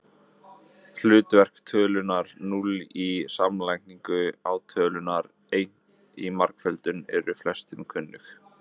Hlutverk tölunnar núll í samlagningu og tölunnar einn í margföldun eru flestum kunnug.